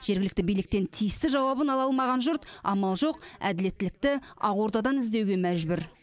жергілікті биліктен тиісті жауабын ала алмаған жұрт амал жоқ әділеттілікті ақордадан іздеуге мәжбүр